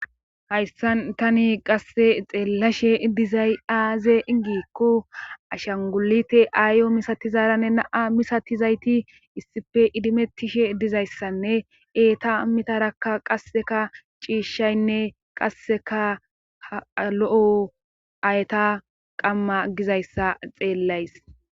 hayssan tani qasse xeellashe dizay aze gikko ashangulite aayo misatizaaranne naa misatizayti issife idimettishe dizayssanne eeta mitarakka qasseka ciishshaynne qasseka h lo'o ayta qamma gizayssa xeellays